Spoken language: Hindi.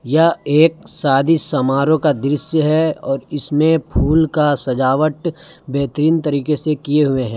यह एक शादी समारोह का दृश्य है और इसमें फूल का सजावट बेहतरीन तरीके से किए हुए हैं।